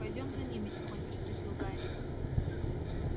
пойдём за ними тихонько спросил гарри